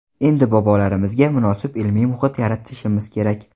Endi bobolarimizga munosib ilmiy muhit yaratishimiz kerak.